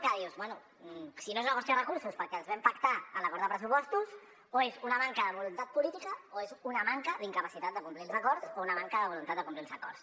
que dius bé si no és una qüestió de recursos perquè els vam pactar a l’acord de pressupostos o és una manca de voluntat política o és una manca d’incapacitat de complir els acords o una manca de voluntat de complir els acords